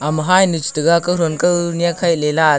ama hainu che taiga kawthow kawnek khaile lah.